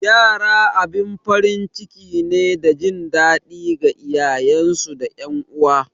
Yara abin farin ciki ne da jin daɗi ga iyayensu da ’yan uwa.